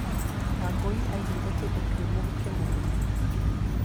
Wangũi aaiguire kĩndũ kĩũmũ gĩkĩmũgũtha.